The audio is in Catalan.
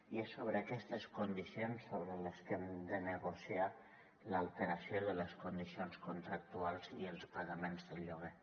i és sobre aquestes condicions sobre les que hem de negociar l’alteració de les condicions contractuals i els pagaments del lloguer